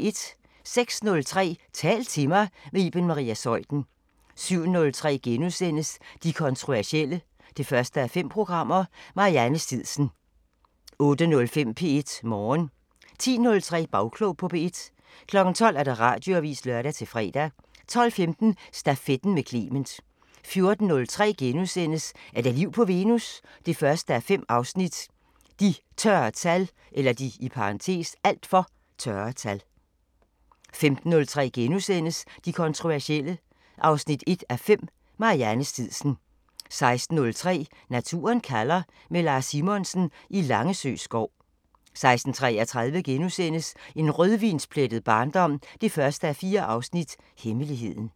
06:03: Tal til mig – med Iben Maria Zeuthen 07:03: De kontroversielle 1:5 – Marianne Stidsen * 08:05: P1 Morgen 10:03: Bagklog på P1 12:00: Radioavisen (lør-fre) 12:15: Stafetten med Clement 14:03: Er der liv på Venus? 1:5 – De (alt for) tørre tal * 15:03: De kontroversielle 1:5 – Marianne Stidsen * 16:03: Naturen kalder – med Lars Simonsen i Langesø skov 16:33: En rødvinsplettet barndom 1:4 – Hemmeligheden *